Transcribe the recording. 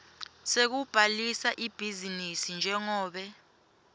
sekubhalisa ibhizinisi njengobe